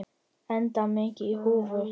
Enda mikið í húfi.